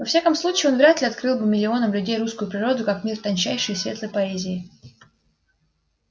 во всяком случае он вряд ли открыл бы миллионам людей русскую природу как мир тончайшей и светлой поэзии